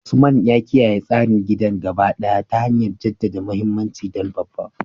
Usman ya kiyaye tsarin gidan gaba ɗaya ta hanyar jaddada muhimmancin dan babba.